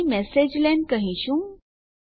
અહીં મેસેજલેન કહીશું